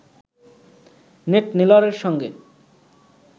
net নেলরের সঙ্গে